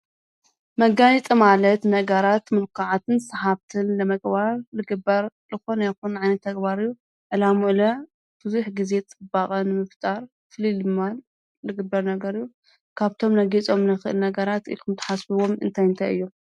መጋየፂ ማለት ነገራት ሙልካዕን ስሓብትን ንምግባር ዝግበር ዝኮነ ይኩን ዓይነት ተግባርን ዕላሙኡ ለ ንብዙሕ ግዜ ፅባቀ ንምፍፃር ፍልይ ንምባል ዝግበር ነገር እዩ። ካብቶም ክነግይፆሎም እንክእል እና ኢልኩም እትሓስብዎም ነገራት እንታይ እንታይ እዮም?